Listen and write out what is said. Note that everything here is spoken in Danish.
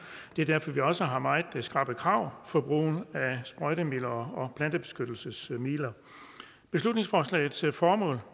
det er derfor vi også har meget skrappe krav for brugen af sprøjtemidler og plantebeskyttelsesmidler beslutningsforslagets formål